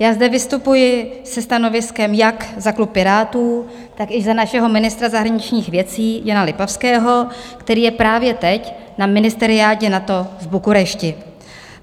Já zde vystupuji se stanoviskem jak za klub Pirátů, tak i za našeho ministra zahraničních věcí Jana Lipavského, který je právě teď na ministeriádě NATO v Bukurešti.